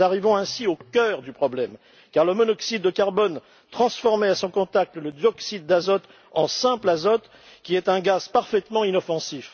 Nous arrivons ainsi au cœur du problème, car le monoxyde de carbone transformait à son contact le dioxyde d'azote en simple azote, qui est un gaz parfaitement inoffensif.